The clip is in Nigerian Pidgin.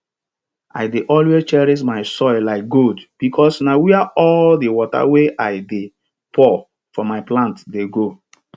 i dey always cherish my soil like gold because na where all di water wey i dey pour for my plant dey go